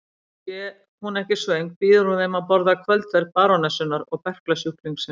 Sé hún ekki svöng býður hún þeim að borða kvöldverð barónessunnar og berklasjúklingsins.